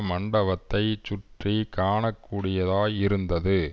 மண்டபத்தைச் சுற்றி காண கூடியதாய் இருந்தது